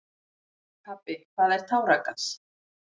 Pabbi, hvað er táragas?